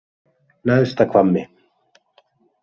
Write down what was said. Neðsta Hvammi